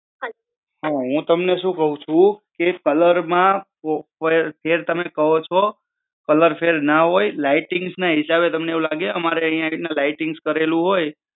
હું તમને સુ કહું છું કે color માં ફેર તમે કહો છો color ફેર ના હોય lightings ના હિસબુ તમને લાગે અમારે અય્યા lighting કરેલું હોય